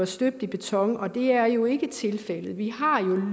støbt i beton og det er jo ikke tilfældet vi har jo